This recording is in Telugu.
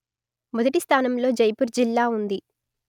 మొదటి స్థానంలో జైపూర్ జిల్లా ఉంది